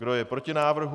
Kdo je proti návrhu?